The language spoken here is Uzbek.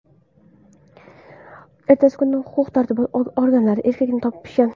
Ertasi kuni huquq-tartibot organlari erkakni topishgan.